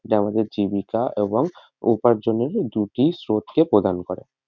এটা আমাদের জীবিকা এবং উপার্জনের দুটি স্রোত কে প্রদান করে।